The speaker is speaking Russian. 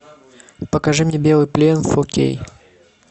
покажи мне белый плен фо кей